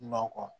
Manɔgɔ